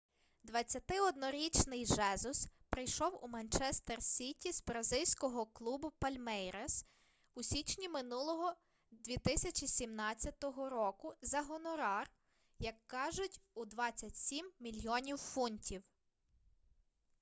21-річний жезус прийшов у манчестер сіті з бразильського клубу палмейрас у січні минулого 2017 року за гонорар як кажуть у 27 мільйонів фунтів